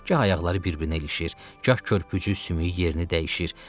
Gah ayaqları bir-birinə ilişir, gah körpücü sümüyü yerini dəyişir.